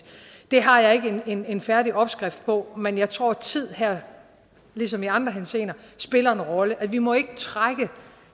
har jeg ikke en en færdig opskrift på men jeg tror at tiden her ligesom i andre henseender spiller en rolle vi må ikke trække